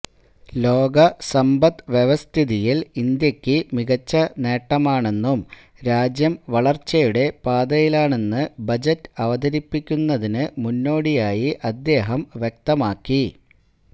ലോക സമ്പത് വ്യവസ്ഥിതിയില് ഇന്ത്യയ്ക്ക് മികച്ച നേട്ടമാണെന്നും രാജ്യം വളര്ച്ചയുടെ പാതയിലാണെന്ന് ബജറ്റ് അവതരിപ്പിക്കുന്നതിന് മുന്നോടിയായി അദ്ദേഹം വ്യക്തമാക്കി